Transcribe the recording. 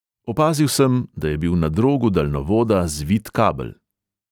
Opazil sem, da je bil na drogu daljnovoda zvit kabel.